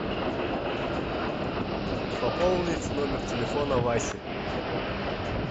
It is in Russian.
пополнить номер телефона васи